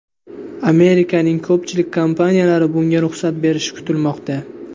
Amerikaning ko‘pchilik kompaniyalari bunga ruxsat berishi kutilmoqda.